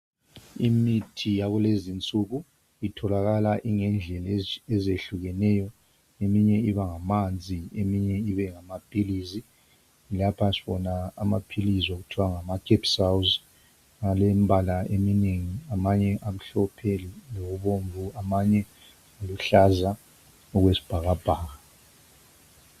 Imithi yakulezi insuku itholakala ingendlela ezehlukeneyo eminye ibangamanzi eminye ibengamapills lapha sbone amapills okuthiwa ngamaCapsours alemibala eminengi amanye amhlophe lokubomvu amanye amhlophe okwesibhakabhaka